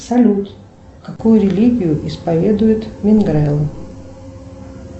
салют какую религию исповедуют мегрелы